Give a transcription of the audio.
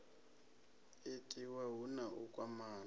itiwa hu na u kwamana